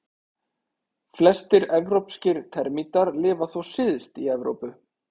Flestir evrópskir termítar lifa þó syðst í Evrópu.